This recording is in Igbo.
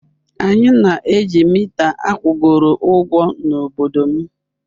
Anyị na-eji mita akwụgoro ụgwọ n'obodo m.